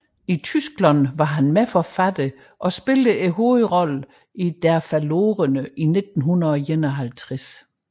I Tyskland var han medforfatter og spillede hovedrollen i Der Verlorene i 1951